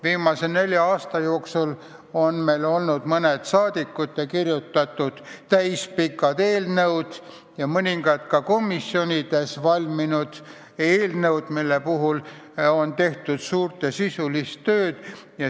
Viimase nelja aasta jooksul on meil olnud mõned rahvasaadikute kirjutatud täispikad eelnõud ja mõningad ka komisjonides valminud eelnõud, mille koostamiseks on tehtud suurt sisulist tööd.